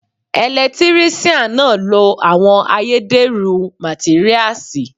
Ẹ̀lẹ́tíríṣiàn náà lo àwọn ayédẹ̀rú màtíríasì.